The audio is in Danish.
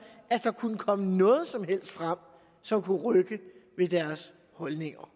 at der kunne komme noget som helst frem som kunne rykke ved deres holdninger